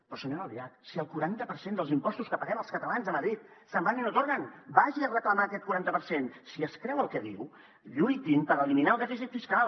però senyora albiach si el quaranta per cent dels impostos que paguem els catalans a madrid se’n van i no tornen vagi a reclamar aquest quaranta per cent si es creu el que diu lluitin per eliminar el dèficit fiscal